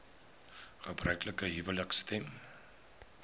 gebruiklike huwelike stem